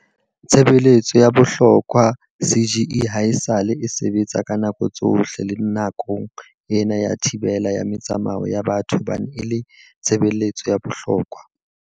Tshebeletso ya bohlokwa CGE haesale e sebetsa ka nako tsohle le nakong ena ya thibela ya metsamao ya batho hobane e le tshebe letso ya bohlokwa.